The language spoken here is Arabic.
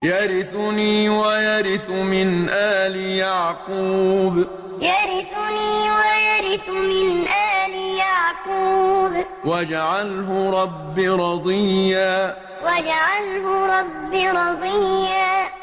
يَرِثُنِي وَيَرِثُ مِنْ آلِ يَعْقُوبَ ۖ وَاجْعَلْهُ رَبِّ رَضِيًّا يَرِثُنِي وَيَرِثُ مِنْ آلِ يَعْقُوبَ ۖ وَاجْعَلْهُ رَبِّ رَضِيًّا